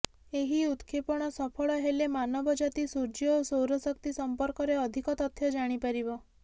ଏହି ଉତକ୍ଷେପଣ ସଫଳ ହେଲେ ମାନବଜାତି ସୂର୍ଯ୍ୟ ଓ ସୌରଶକ୍ତି ସମ୍ପର୍କରେ ଅଧିକ ତଥ୍ୟ ଜାଣି ପାରିବ